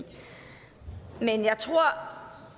men jeg tror